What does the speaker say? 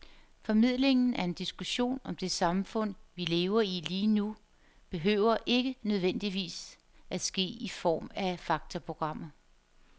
Formidlingen af en diskussion om det samfund, vi lever i lige nu, behøver ikke nødvendigvis at ske i form af faktaprogrammer.